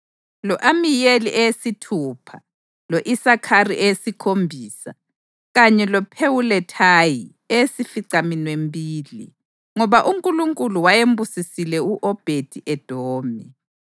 lo-Amiyeli eyesithupha, lo-Isakhari eyesikhombisa, kanye loPhewulethayi eyesificaminwembili. (Ngoba uNkulunkulu wayembusisile u-Obhedi-Edomi.)